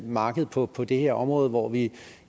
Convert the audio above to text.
marked på på det her område hvor vi